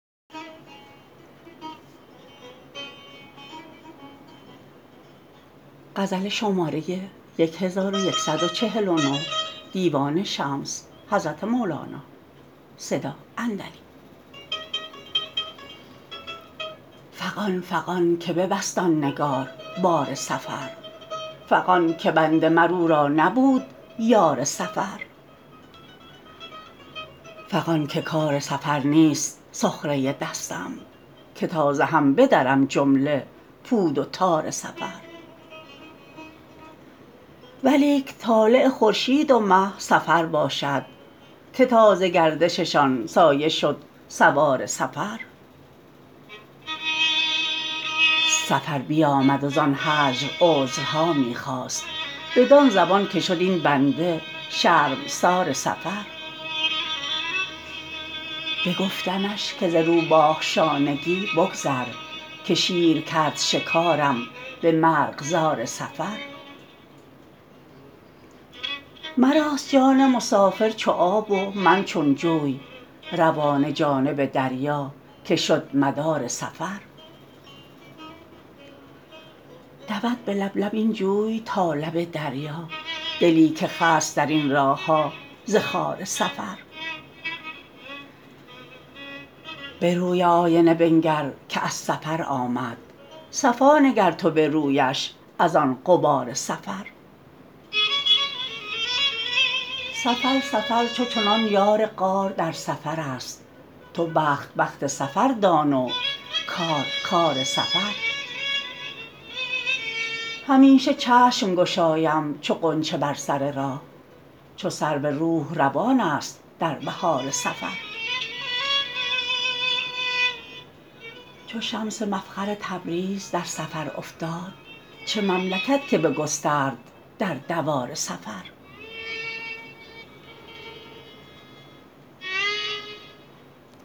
فغان فغان که ببست آن نگار بار سفر فغان که بنده مر او را نبود یار سفر فغان که کار سفر نیست سخره دستم که تا ز هم بدرم جمله پود و تار سفر ولیک طالع خورشید و مه سفر باشد که تاز گردششان سایه شد سوار سفر سفر بیامد وزان هجر عذرها می خواست بدان زبان که شد این بنده شرمسار سفر بگفتمش که ز روباه شانگی بگذر که شیر کرد شکارم به مرغزار سفر مراست جان مسافر چو آب و من چون جوی روانه جانب دریا که شد مدار سفر دود به لب لب این جوی تا لب دریا دلی که خست در این راه ها ز خار سفر به روی آینه بنگر که از سفر آمد صفا نگر تو به رویش از آن غبار سفر سفر سفر چو چنان یار غار در سفرست تو بخت بخت سفر دان و کار کار سفر همیشه چشم گشایم چو غنچه بر سر راه چو سرو روح روانست در بهار سفر چو شمس مفخر تبریز در سفر افتاد چه مملکت که بگسترد در دوار سفر